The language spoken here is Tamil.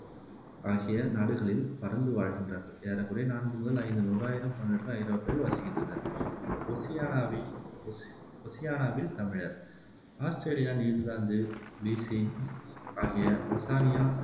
ஆகிய நாடுகளில் பரந்து வாழ்கின்றார்கள் ஏறக்குறைய நான்கு முதல் ஐந்து நூறாயிரம் தமிழர்கள் ஐரோப்பாவில் வசிக்கின்றனர் ஓசியானாவில் ஒசி ஓசியானாவில் தமிழர் ஆஸ்த்திரேலியா, நியூசிலாந்து, பிசி ஆகிய ஓசானியா ந